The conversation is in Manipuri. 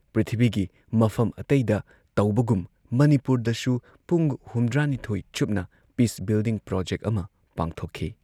ꯄ꯭ꯔꯤꯊꯤꯕꯤꯒꯤ ꯃꯐꯝ ꯑꯇꯩꯗ ꯇꯧꯕꯒꯨꯝ ꯃꯅꯤꯄꯨꯔꯗꯁꯨ ꯄꯨꯡ ꯍꯨꯝꯗ꯭ꯔꯥ ꯅꯤꯊꯣꯏ ꯆꯨꯞꯅ ꯄꯤꯁ ꯕꯤꯜꯗꯤꯡ ꯄ꯭ꯔꯣꯖꯦꯛ ꯑꯃ ꯄꯥꯡꯊꯣꯛꯈꯤ ꯫